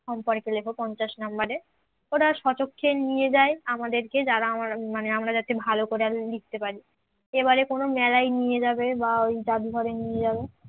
সম্পর্কে লেখ পঞ্চাশ নাম্বারের ওরা স্বচক্ষে নিয়ে যায় আমাদেরকে যারা আমরা মানে আমরা যাতে ভালো করে আরো লিখতে পারি। এবারে কোন মেলায় নিয়ে যাবে বা ওই জাদুঘরে নিয়ে যাবে